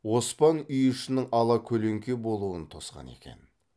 оспан үй ішінің ала көлеңке болуын тосқан екен